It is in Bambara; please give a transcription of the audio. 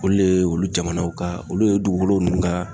Olu ye ,olu jamanaw ka ,olu ye dugukolo nunnu ka